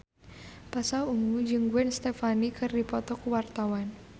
Pasha Ungu jeung Gwen Stefani keur dipoto ku wartawan